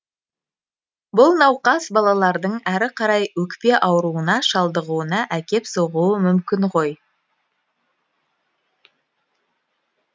бұл науқас балалардың әрі қарай өкпе ауруына шалдығуына әкеп соғуы мүмкін ғой